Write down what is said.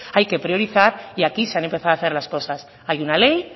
hay que priorizar y aquí se han empezado a hacer las cosas hay una ley